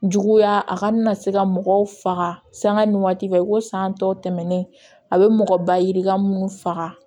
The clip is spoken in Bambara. Juguya a kana na se ka mɔgɔw faga sanga ni waati fɛ ko san tɔ tɛmɛnen a bɛ mɔgɔ baji ka minnu faga